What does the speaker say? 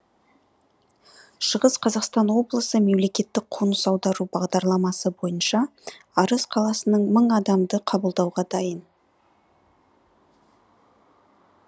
шығыс қазақстан облысы мемлекеттік қоныс аудару бағдарламасы бойынша арыс қаласының мың адамды қабылдауға дайын